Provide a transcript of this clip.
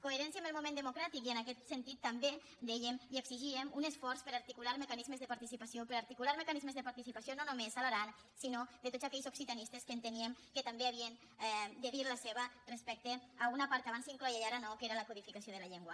coherència amb el moment democràtic i en aquest sentit també dèiem i exigíem un esforç per articular mecanismes de participació per articular mecanismes de participació no només a l’aran sinó de tots aquells occitanistes que enteníem que també havien de dir la seva respecte a una part que abans s’incloïa i ara no que era la codificació de la llengua